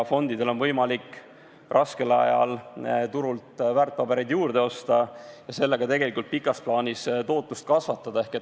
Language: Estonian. Fondidel on võimalik raskel ajal turult väärtpabereid juurde osta ja sellega tegelikult pikas plaanis tootlust kasvatada.